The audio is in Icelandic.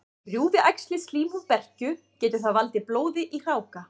Rjúfi æxlið slímhúð berkju, getur það valdið blóði í hráka.